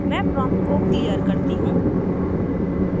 मैं prompt को साफ करती हूँ